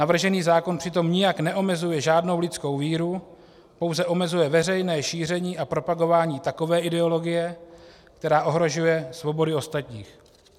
Navržený zákon přitom nijak neomezuje žádnou lidskou víru, pouze omezuje veřejné šíření a propagování takové ideologie, která ohrožuje svobody ostatních.